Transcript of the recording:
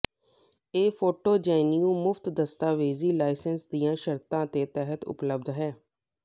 ਇਹ photo GNU ਮੁਫਤ ਦਸਤਾਵੇਜ਼ੀ ਲਾਈਸੈਂਸ ਦੀਆਂ ਸ਼ਰਤਾਂ ਦੇ ਤਹਿਤ ਉਪਲਬਧ ਹੈ